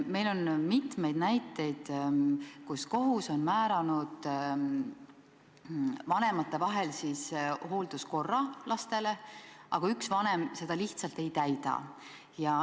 Meil on mitmeid näiteid, kus kohus on määranud vanemate vahel laste hooldamise korra, aga üks vanem seda lihtsalt ei täida.